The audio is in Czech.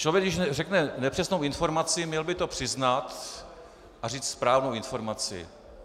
Člověk když řekne nepřesnou informaci, měl by to přiznat a říct správnou informaci.